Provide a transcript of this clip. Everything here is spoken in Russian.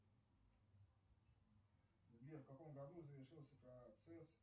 сбер в каком году завершился процесс